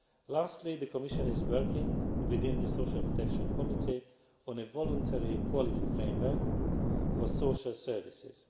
Lastly, the Commission is working within the Social Protection Committee on a voluntary quality framework for social services.